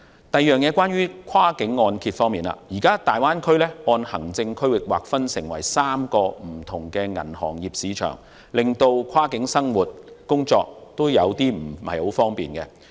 第二，在跨境按揭方面，大灣區現時按行政區域劃分為3個不同的銀行業市場，令跨境生活和工作頗為不便。